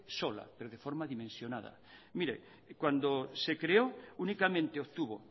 sola pero de forma dimensionada mire cuando se creó únicamente obtuvo